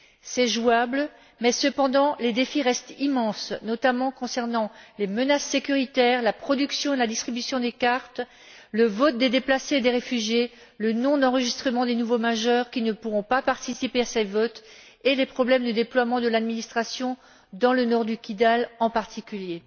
C'est jouable, mais les défis restent immenses, notamment concernant les menaces sécuritaires, la production et la distribution des cartes, le vote des déplacés et des réfugiés, le non enregistrement des nouveaux majeurs, qui ne pourront pas participer à ce vote, et les problèmes de déploiement de l'administration dans le nord du Kidal, en particulier.